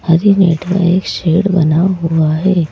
हरे net का एक shade बना हुआ है।